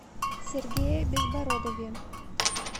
сергее безбородове